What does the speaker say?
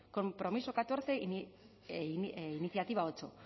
compromiso catorce iniciativa ocho